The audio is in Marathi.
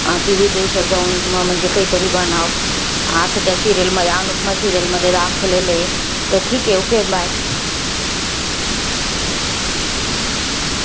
ती विदेशात जाऊन अं म्हणजे काहीतरी बनावं. असं त्या serial मध्ये, अनुपमा serial मध्ये दाखवलेलं आहे. तर ठीके, okay bye